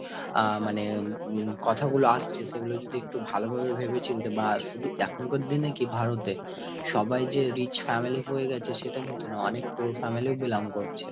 আহ মানে উম কথাগুলো আসছে সে গুলো যদি একটু ভালোভাবে ভেবেচিন্তে, বা শুধু এখনকার দিনে কি ভারতে, সবাই যে rich family হয়ে গেছে সেটা কিন্তু নয় অনেক poor family ও belong করছে।